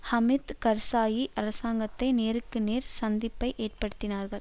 ஹமித் கர்சாயி அரசாங்கத்தை நேருக்கு நேர் சந்திப்பை ஏற்படுத்தினார்கள்